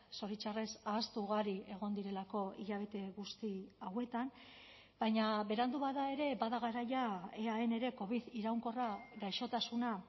zoritxarrez ahaztu ugari egon direlako hilabete guzti hauetan baina berandu bada ere bada garaia eaen ere covid iraunkorra gaixotasuna